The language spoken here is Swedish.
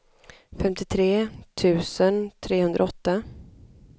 femtiotre tusen trehundraåtta